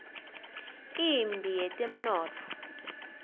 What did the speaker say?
imphi yetemnotfo